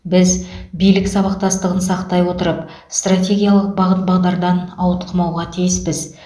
біз билік сабақтастығын сақтай отырып стратегиялық бағыт бағдардан ауытқымауға тиіспіз